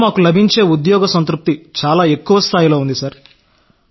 ఇందులో మాకు లభించే ఉద్యోగ సంతృప్తి చాలా ఎక్కువ స్థాయిలో ఉంది సార్